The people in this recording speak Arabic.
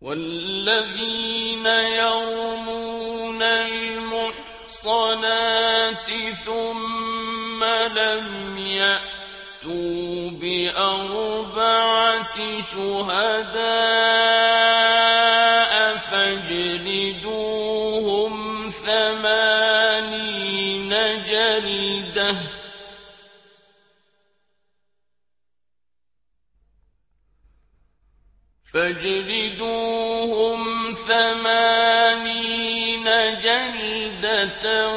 وَالَّذِينَ يَرْمُونَ الْمُحْصَنَاتِ ثُمَّ لَمْ يَأْتُوا بِأَرْبَعَةِ شُهَدَاءَ فَاجْلِدُوهُمْ ثَمَانِينَ جَلْدَةً